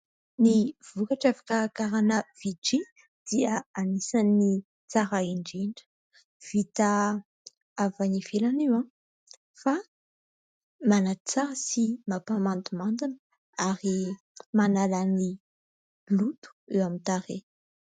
Ny vokatra fikarakarana VICHY dia anisan'ny tsara indrindra. Vita avy any ivelany io fa manatsara sy mampa-mandimandina, ary manala ny loto eo amin'ny tarehy.